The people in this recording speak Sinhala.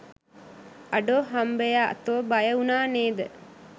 අඩෝ හම්බයා තෝ බය වුනා නේද